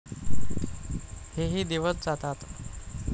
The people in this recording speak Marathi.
हेही दिवस जातात.